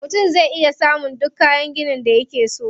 Mutum zai iya samun duk kayan ginin da yake so.